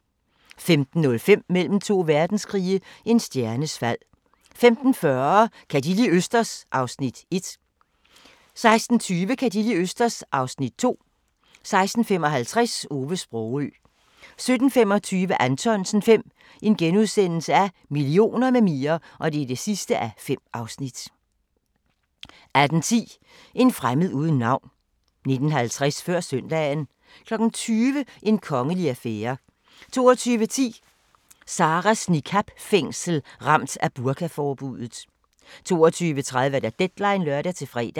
15:05: Mellem to verdenskrige – en stjernes fald 15:40: Ka' De li' østers? (1:6) 16:20: Ka' De li' østers? (2:6) 16:55: Ove Sprogøe 17:25: Anthonsen V – Millioner med mere (5:5)* 18:10: En fremmed uden navn 19:50: Før søndagen 20:00: En kongelig affære 22:10: Sarahs niqab-fængsel – ramt af burkaforbuddet 22:30: Deadline (lør-fre)